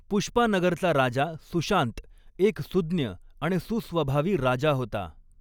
पुष्पानगरचा राजा सुशांत एक सूज्ञ आणि सुस्वभावी राजा होता.